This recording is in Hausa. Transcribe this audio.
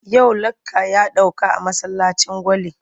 Yau lakca ya ɗauka a masallacin Gwale.